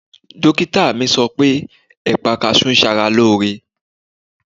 Dókítà mi sọ pé ẹ̀pà kaṣú ń ṣe ara lóore.